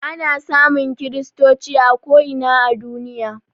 Ana samun kristoci a ko ina a duniya